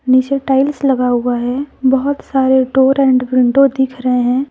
नीचे टाइल्स लगा हुआ है बहुत सारे डोर एंड विंडो दिख रहे हैं।